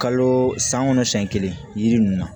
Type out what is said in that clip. Kalo san kɔnɔ siɲɛ kelen yiri ninnu na